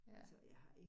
Ja